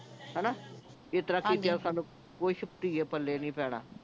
ਹਣਾ ਇਸ ਤਰਾਂ ਕਿਤਿਆਂ ਸਾਨੂੰ ਕੁਛ ਧੀਏ ਪੱਲੇ ਨਹੀਂ ਪੈਣਾ